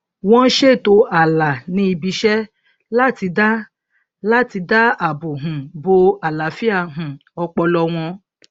wọn ṣètò ààlà ní ibiṣẹ láti dá láti dá àbò um bo àlàáfíà um ọpọlọ wọn